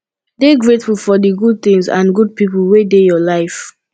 dey grateful for di good things and good pipo wey dey your life